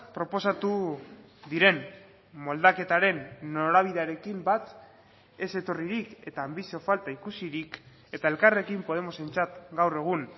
proposatu diren moldaketaren norabidearekin bat ez etorririk eta anbizio falta ikusirik eta elkarrekin podemosentzat gaur egun